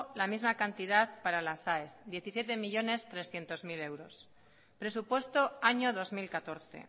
la misma cantidad para las aes diecisiete millónes trescientos mil euros presupuesto año dos mil catorce